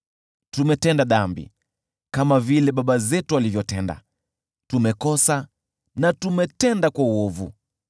Tumetenda dhambi, kama vile baba zetu walivyotenda, tumekosa na tumetenda uovu.